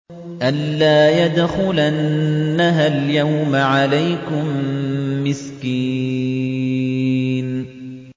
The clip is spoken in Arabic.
أَن لَّا يَدْخُلَنَّهَا الْيَوْمَ عَلَيْكُم مِّسْكِينٌ